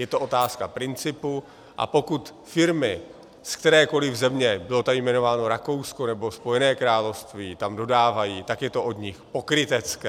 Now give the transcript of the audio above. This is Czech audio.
Je to otázka principu, a pokud firmy z kterékoliv země, bylo tady jmenováno Rakousko nebo Spojené království, tam dodávají, tak je to od nich pokrytecké.